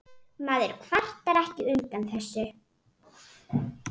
Maður kvartar ekki undan þessu.